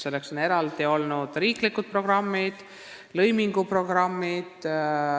Selleks on olnud eraldi riiklikud programmid, lõiminguprogrammid.